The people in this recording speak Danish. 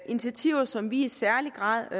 initiativer som vi i særlig grad